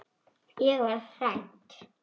Ég varð hrædd.